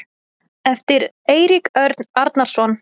eftir eirík örn arnarson